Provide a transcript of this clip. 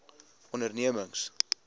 ondernemings